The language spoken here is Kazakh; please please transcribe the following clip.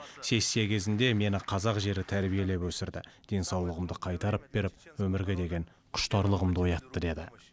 сессия кезінде мені қазақ жері тәрбиелеп өсірді денсаулығымды қайтарып беріп өмірге деген құштарлығымды оятты деді